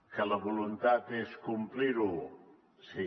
que la voluntat és complir ho sí